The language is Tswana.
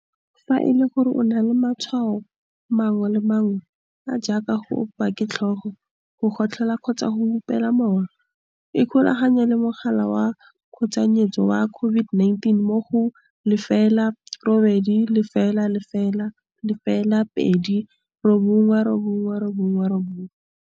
Fa e le gore o na le matshwao mangwe le mangwe, a a jaaka go opiwa ke tlhogo, go gotlhola kgotsa go hupela mowa, ikgolaganye le mogala wa tshoganyetso wa COVID-19 mo go 0800 029 999